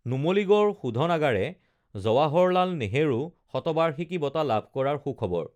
নুমলীগড় শোধনাগাৰে জৱাহৰ লাল নেহৰু শতবাৰ্ষিকী বঁটা লাভ কৰাৰ সুখবৰ